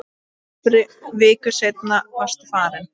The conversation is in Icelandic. Tæpri viku seinna varstu farinn.